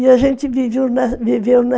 E a gente viveu viveu